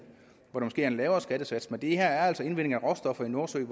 hvor der måske er en lavere skattesats men det her er altså indvinding af råstoffer i nordsøen